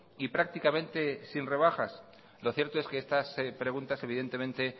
y prácticamente sin rebajas lo cierto es que estas preguntas evidentemente